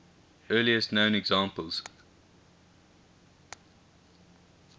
earliest known examples